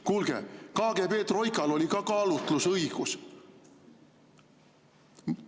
Kuulge, KGB troikal oli ka kaalutlusõigus.